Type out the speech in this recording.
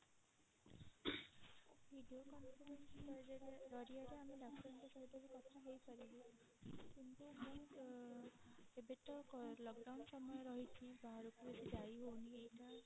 video call ଜରିଆରେ ଆମେ ଡାକ୍ତରଙ୍କ ସହିତ ବି କଥା ହେଇପାରିବୁ କିନ୍ତୁ ମୁଁ ଏବେ ତ lockdown ସମୟ ରହିଛି ବାହାରକୁ ବେସୀ ଯାଇ ହୋଉନି ଏଇଟା